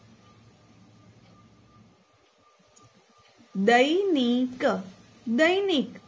દૈ નિ ક દૈનિક